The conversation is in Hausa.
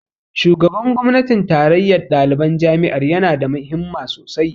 Shugaban gwamnatin tarayyar ɗaliban jami'ar ya na da himma sosai